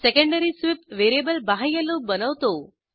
secondary sweep variable बाह्य loop बनवतो